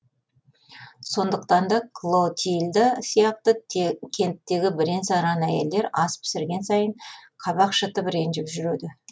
сондықтан да клотильда сияқты кенттегі бірен саран әйелдер ас пісірген сайын қабақ шытып ренжіп жүреді